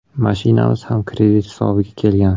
Mashinamiz ham kredit hisobiga kelgan.